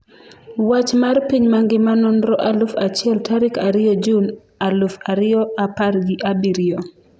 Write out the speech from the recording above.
Wach mar piny mangima Nonro aluf achiel tarik ariyo jun aluf ariyo apar gi abirio